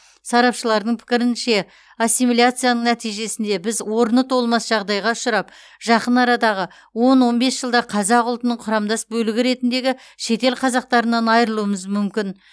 сарапшылардың пікірінше ассимиляцияның нәтижесінде біз орны толмас жағдайға ұшырап жақын арадағы он он бес жылда қазақ ұлтының құрамдас бөлігі ретіндегі шетел қазақтарынан айырылуымыз мүмкін